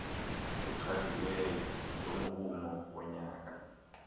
echaziweyo yomrhumo wonyaka